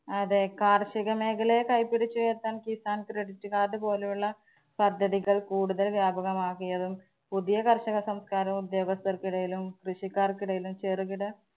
അതെ കാര്‍ഷിക മേഖലയെ കൈപിടിച്ചുയര്‍ത്താന്‍ കിസാന്‍ credit card പോലെയുള്ള പദ്ധതികള്‍ കൂടുതല്‍ വ്യാപകമാക്കിയതും പുതിയ കര്‍ഷക സംസ്കാരം ഉദ്യോഗസ്ഥര്‍ക്കിടയിലും കൃഷിക്കാര്‍ക്കിടയിലും ചെറുകിട